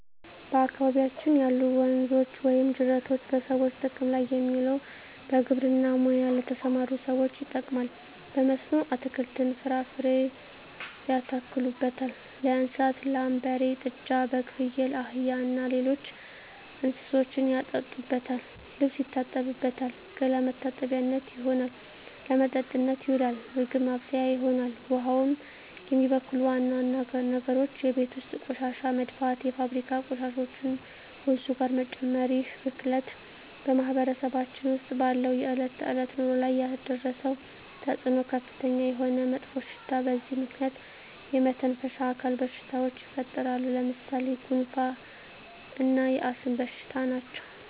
በአካባቢያችን ያሉ ወንዞች ወይም ጅረቶች በሰዎች ጥቅም ላይ የሚውለው በግብርና ሙያ ለተሠማሩ ሠዎች ይጠቅማል። በመስኖ አትክልትን፣ ፍራፍሬ ያተክሉበታል። ለእንስሳት ላም፣ በሬ፣ ጥጃ፣ በግ፣ ፍየል፣ አህያ እና ሌሎች እንስሶችን ያጠጡበታል፣ ልብስ ይታጠብበታል፣ ገላ መታጠቢያነት ይሆናል። ለመጠጥነት ይውላል፣ ምግብ ማብሠያ ይሆናል። ውሃውን የሚበክሉ ዋና ዋና ነገሮች የቤት ውስጥ ቆሻሻ መድፋት፣ የፋብሪካ ቆሻሾችን ወንዙ ጋር መጨመር ይህ ብክለት በማህበረሰባችን ውስጥ ባለው የዕለት ተዕለት ኑሮ ላይ ያደረሰው ተፅዕኖ ከፍተኛ የሆነ መጥፎሽታ በዚህ ምክንያት የመተነፈሻ አካል በሽታዎች ይፈጠራሉ። ለምሣሌ፦ ጉንፋ እና የአስም በሽታ ናቸው።